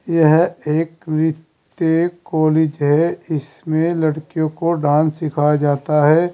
यह एक वित्त कॉलेज है इसमें लड़कियों को डांस सिखाया जाता है।